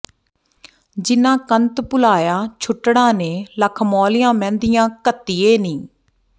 ਜਿਨ੍ਹਾਂ ਕੰਤ ਭੁਲਾਇਆ ਛੁਟੜਾਂ ਨੇ ਲਖ ਮੌਲੀਆਂ ਮਹਿੰਦੀਆਂ ਘੱਤੀਏ ਨੀ